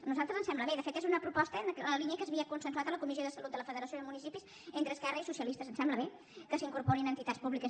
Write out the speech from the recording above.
a nosaltres ens sembla bé de fet és una proposta en la línia que s’havia consensuat a la comissió de salut de la federació de municipis entre esquerra i socialistes ens sembla bé que s’hi incorporin entitats públiques